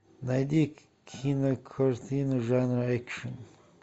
найди кинокартину жанра экшн